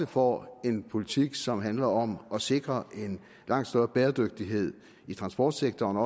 får en politik som handler om at sikre langt større bæredygtighed i transportsektoren og